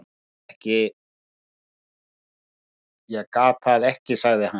Ég get það ekki sagði hann.